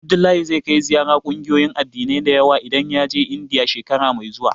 Abdullahi zai kai ziyara ƙungiyoyin addinai da yawa idan ya je Indiya, shekara mai zuwa.